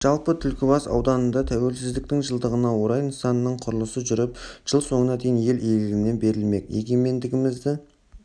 жалпы түлкібас ауданында тәуелсіздіктің жылдығына орай нысанның құрылысы жүріп жыл соңына дейін ел игілігіне берілмек егемендігімізді